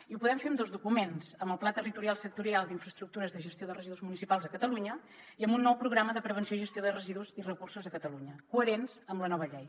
i ho podem fer amb dos documents amb el pla territorial sectorial d’infraestructures de gestió de residus municipals a catalunya i amb un nou programa de prevenció i gestió de residus i recursos a catalunya coherents amb la nova llei